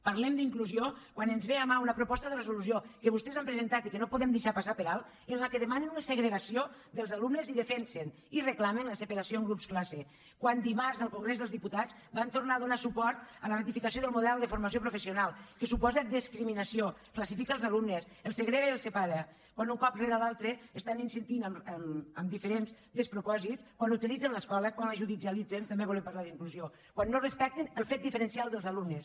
parlem d’inclusió quan ens ve a mà una proposta de resolució que vostès han presentat i que no podem deixar passar per alt en què demanen una segregació dels alumnes i defensen i reclamen la separació en grups classe quan dimarts al congrés dels diputats van tornar a donar suport a la ratificació del model de formació professional que suposa discriminació classifica els alumnes els segrega i els separa quan un cop rere l’altre estan insistint amb diferents despropòsits quan utilitzen l’escola quan la judicialitzen també volem parlar d’inclusió quan no respecten el fet diferencial dels alumnes